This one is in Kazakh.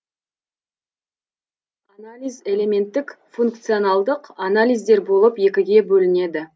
органикалық анализ элементтік функционалдық анализдер болып екіге бөлінеді